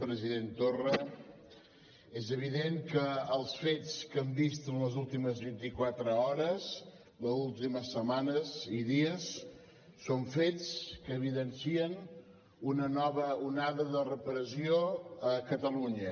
president torra és evident que els fets que hem vist en les últimes vint i quatre hores les últimes setmanes i dies són fets que evidencien una nova onada de repressió a catalunya